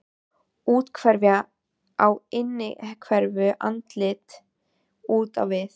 Úthverfa á innhverfu, andlit út á við.